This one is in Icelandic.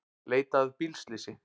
Leita að bílslysi